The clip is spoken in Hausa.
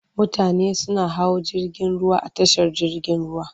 Mutane suna hawa jirgin ruwa a tashar jirgin ruwa.